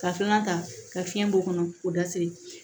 Ka fiɲɛ ta ka fiɲɛ b'o kɔnɔ k'o da seri